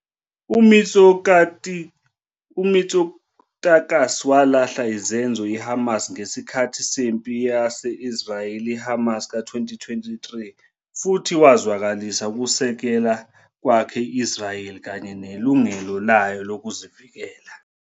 UMitsotakis walahla izenzo I-Hamas ngesikhathi sempi ye-Israel-Hamas ka-2023 futhi wazwakalisa ukusekela kwakhe i-Israel kanye nelungelo layo lokuzivikela.